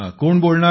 कोण बोलणार